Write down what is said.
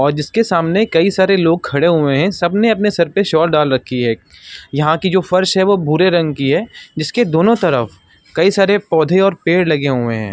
और जिसके सामने कई सारे लोग खड़े हुए हैं। सबने अपने सर पे शॉल डाल रखी है। यहाँ की जो फर्श है वो भूरे रंग की है जिसके दोनों तरफ कई सारे पौधे और पेड़ लगे हुए हैं।